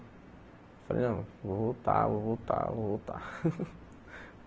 Falei, não, vou voltar, vou voltar, vou voltar.